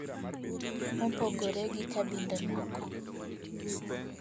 Mopogore gi kabinde moko,